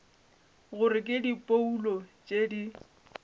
gore ke diphoulo tše di